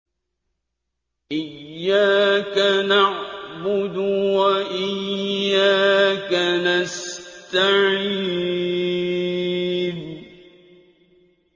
إِيَّاكَ نَعْبُدُ وَإِيَّاكَ نَسْتَعِينُ